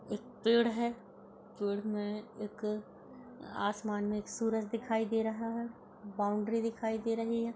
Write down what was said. एक पेड़ है। पेड़ में एक आसमान में एक सूरज दिखाई दे रहा है। बाउंड्री दिखाई दे रही है।